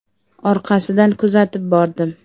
Orqasidan kuzatib bordim.